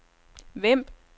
Vemb